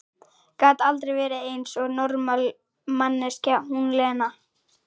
Gat aldrei verið eins og normal manneskja, hún Lena!